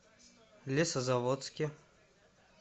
лесозаводске